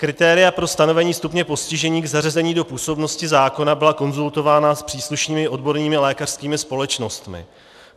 Kritéria pro stanovení stupně postižení k zařazení do působnosti zákona byla konzultována s příslušnými odbornými lékařskými společnostmi.